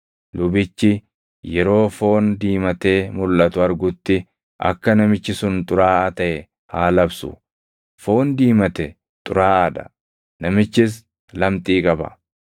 Lubichi yeroo foon diimatee mulʼatu argutti akka namichi sun xuraaʼaa taʼe haa labsu; foon diimate xuraaʼaa dha; namichis lamxii qaba.